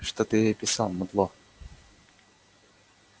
что ты ей писал мудло